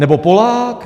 Nebo Polák?